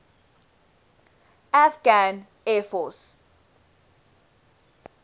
afghan air force